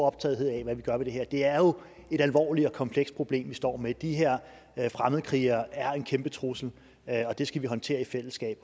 optaget af hvad vi gør ved det her det er jo et alvorligt og komplekst problem vi står med de her fremmedkrigere er en kæmpe trussel og det skal vi håndtere i fællesskab